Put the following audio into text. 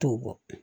T'o bɔ